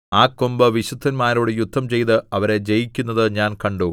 ആ കൊമ്പ് വിശുദ്ധന്മാരോട് യുദ്ധം ചെയ്ത് അവരെ ജയിക്കുന്നത് ഞാൻ കണ്ടു